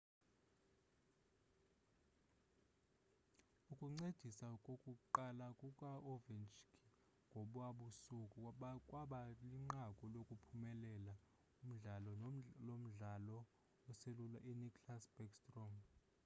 ukuncedisa kokuqala kuka-ovechkin ngobabusuku kwabalinqaku lokuphumelela umdlalo lomdlali oselula u-nicklas backstrom